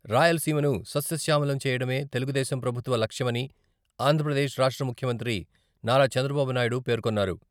రాయలసీమను సస్యశ్యామలం చేయడమే తెలుగుదేశం ప్రభుత్వ లక్ష్యమని ఆంధ్రప్రదేశ్ రాష్ట్ర ముఖ్యమంత్రి నారా చంద్రబాబు నాయుడు పేర్కొన్నారు.